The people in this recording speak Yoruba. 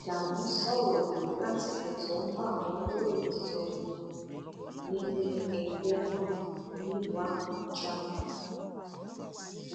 ádámù sọrọ yìí lásìkò tó ń bá àwọn oníròyìn sọrọ nílé ẹgbẹ náà nílùú àbújá